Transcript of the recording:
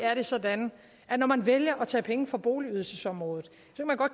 er det sådan at når man vælger at tage penge fra boligydelsesområdet